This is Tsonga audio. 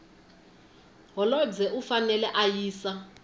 holobye u fanele a yisa